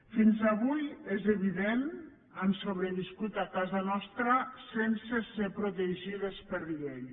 fins avui és evident han sobreviscut a casa nostra sense ser protegides per llei